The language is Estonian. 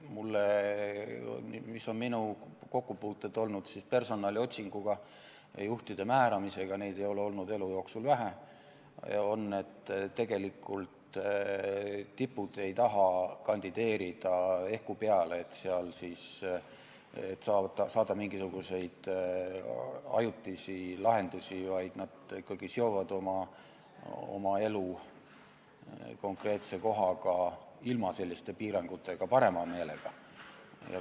Minu kokkupuuted personaliotsinguga, juhtide määramisega – neid ei ole olnud elu jooksul vähe – näitavad, et tipud ei taha kandideerida ehku peale, et saada mingisuguseid ajutisi lahendusi, vaid nad ikkagi seovad oma elu konkreetse kohaga, parema meelega ilma selliste piiranguteta.